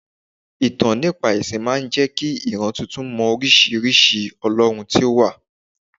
Ìtàn nípa ẹ̀sìn máa ń jẹ́ kí ìran titun mọ oríṣiríṣi olorun tí ó wà.